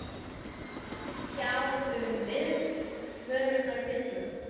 Átti það ekki að kveikja á einhverjum viðvörunarbjöllum?